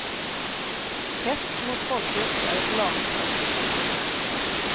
Hets mot folkgrupp är ett lagbrott.